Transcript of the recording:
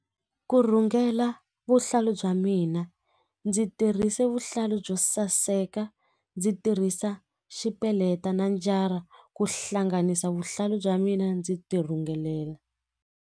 Ku rhungela vuhlalu bya mina ndzi tirhise vuhlalu byo saseka ndzi tirhisa xipeleta na njara ku hlanganisa vuhlalu bya mina ndzi tirhungelela.